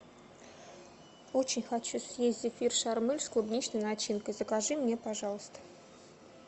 очень хочу съесть зефир шармель с клубничной начинкой закажи мне пожалуйста